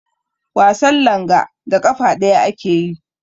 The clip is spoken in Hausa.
Wasan langa da ƙafa ɗaya ake yi.